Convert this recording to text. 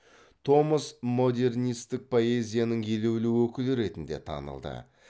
томас модернистік поэзияның елеулі өкілі ретінде танылды